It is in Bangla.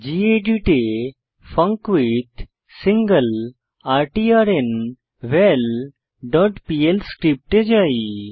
গেদিত এ ফাঙ্কুইথসিংলারট্র্নভাল ডট পিএল স্ক্রিপ্টে যাই